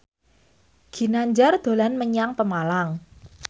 Ginanjar dolan menyang Pemalang